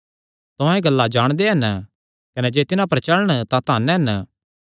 तुहां एह़ गल्लां जाणदे हन कने जे तिन्हां पर चलण तां धन हन